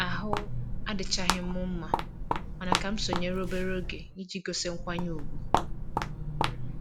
Ahụ adịchaghị m mma mana m ka sonyeere obere oge iji gosi nkwanye ùgwù